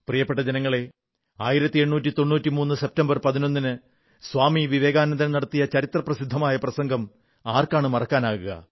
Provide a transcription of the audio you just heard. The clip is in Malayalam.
പ്രിയപ്പെട്ട ജനങ്ങളേ 1893 സെപ്റ്റംബർ 11 ന് സ്വാമി വിവേകാനന്ദൻ നടത്തിയ ചരിത്രപ്രസിദ്ധമായ പ്രസംഗം ആർക്കാണു മറക്കാനാകുക